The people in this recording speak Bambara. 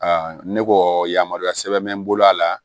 ne ko yamaruya sɛbɛn bɛ n bolo a la